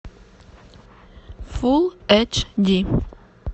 фул эйч ди